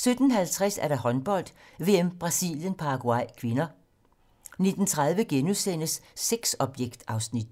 17:50: Håndbold: VM - Brasilien-Paraguay (k) 19:30: Sexobjekt (Afs. 2)*